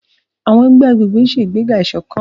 Àwọn ẹgbẹ́ agbègbè ń ṣe ìgbéga ìṣọ̀kan.